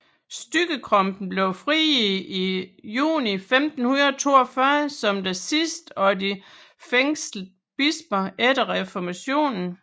Stygge Krumpen blev frigivet juni 1542 som den sidste af de fængslede bisper efter reformationen